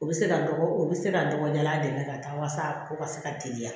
U bɛ se ka dɔgɔ u bɛ se ka dɔgɔya an dɛmɛ ka taa walasa a ko ka se ka teliya